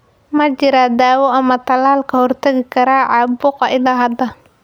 Ma jiro daawo ama tallaal ka hortagi kara caabuqa ilaa hadda.